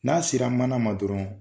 N'a sera mana ma dɔrɔn